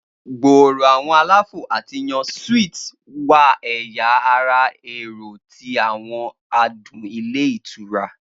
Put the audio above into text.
Gbooro awọn alafo ati yàn suites wà ẹya ara ẹrọ ti awọn adun ilé ítura.